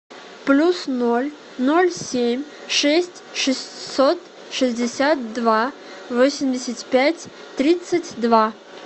плюс ноль ноль семь шесть шестьсот шестьдесят два восемьдесят пять тридцать два